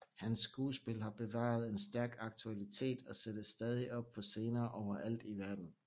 Hans skuespil har bevaret en stærk aktualitet og sættes stadig op på scener overalt i verden